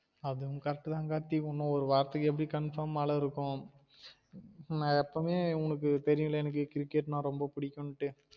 அதுவும் correct தான் கார்த்தி இன்னும் ஒரு வாரத்துக்கு எப்டியும் confirm மழ இருக்கு நான் எப்போமே உனக்கு தெரியும்ல எனக்கு cricket நா ரொம்ப புடிக்குன்னு